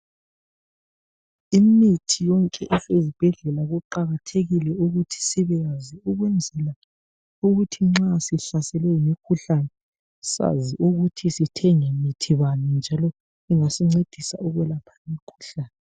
Imithi yonke esezibhedlela kuqakathekile ukuthi sibeyazi ukwenzela ukuthi nxa sihlaselwe ngumkhuhlane sazi ukuthi sithenge muthi bani njalo ungasincedisa kuwuphi umkhuhlane.